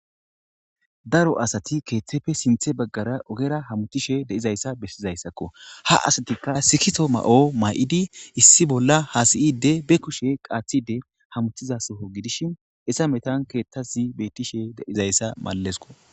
Daro asati keetheppe sinthe bagara ogera hamutishe dizaysa besizaysako. Ha asatika sikiso mayo mayidi issi bolla hasa'idde be kushe qaathiahe de'iza Soho gidishn hesa metan keethasi malesiko.